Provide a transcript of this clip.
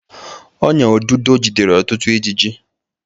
Ọ́nyà odudo jidere ọtụtụ ijiji.